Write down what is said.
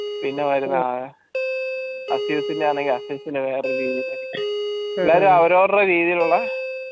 പിന്നെ വരുന്നതാണ് azus ന്റെ ആണെങ്കിൽ azus ന്റെ വേറെ റീത്തിലായിരിക്കും അവര് അവരുടെ രീതിയിലുള്ളേ